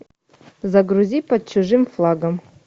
загрузи под чужим флагом